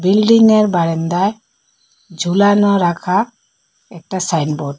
বিল্ডিংয়ের বারেন্দায় ঝুলানো রাখা একটা সাইনবোর্ড ।